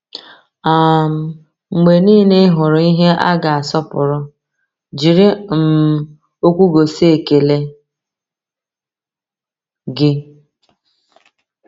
um Mgbe niile ị hụrụ ihe a ga-asọpụrụ, jiri um okwu gosi ekele gị.